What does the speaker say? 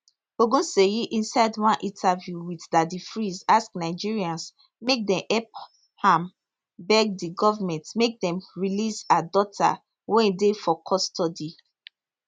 ogunseyi inside one interview wit daddy freeze ask nigerians make dem help am beg di goment make dem release her daughter wey dey for custody